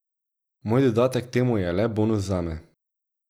Moj dodatek temu je le bonus zame.